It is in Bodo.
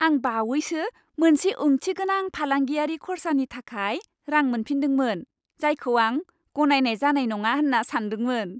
आं बावैसो मोनसे ओंथिगोनां फालांगियारि खर्सानि थाखाय रां मोनफिन्दोंमोन, जायखौ आं गनायनाय जानाय नङा होन्ना सान्दोंमोन।